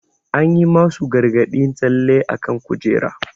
An yi masu gargadin tsalle akan kujera.